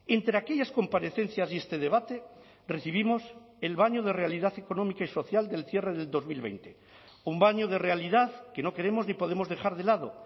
entre aquellas comparecencias y este debate recibimos el baño de realidad económica y social del cierre del dos mil veinte un baño de realidad que no queremos ni podemos dejar de lado